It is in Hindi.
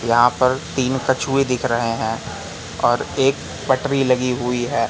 यहां पर तीन कछुये दिख रहे हैं और एक पटरी लगी हुई है।